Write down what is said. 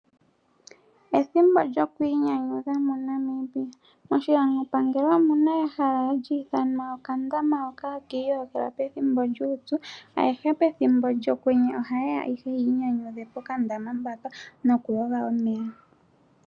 Ethimbo lyokwiinyanyudha muNambia. Moshilandopangelo omuna ehala hali ithanwa okandama haka iyogelwa pethimbo lyuupyu. Aantu ayehe pethimbo lyokwenye ohayeya yiinyanyudhe pokandama haka nokuyoga omeya.